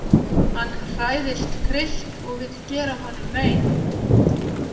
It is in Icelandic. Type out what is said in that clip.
Hann hræðist Krist og vill gera honum mein